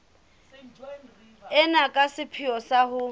ena ka sepheo sa ho